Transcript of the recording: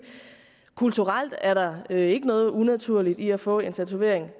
kulturelt er der ikke noget unaturligt i at få en tatovering